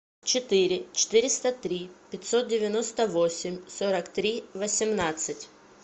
четыре четыреста три пятьсот девяносто восемь сорок три восемнадцать